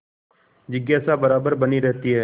जिज्ञासा बराबर बनी रहती है